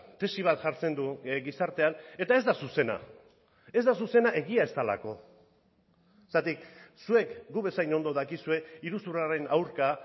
tesi bat jartzen du gizartean eta ez da zuzena ez da zuzena egia ez delako zergatik zuek gu bezain ondo dakizue iruzurraren aurka